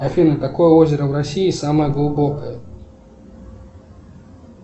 афина какое озеро в россии самое глубокое